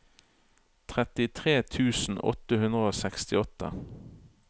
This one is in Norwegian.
trettitre tusen åtte hundre og sekstiåtte